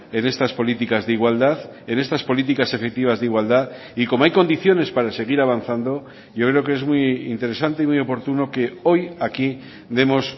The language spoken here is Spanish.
en estas políticas de igualdad en estas políticas efectivas de igualdad y como hay condiciones para seguir avanzando yo creo que es muy interesante y muy oportuno que hoy aquí demos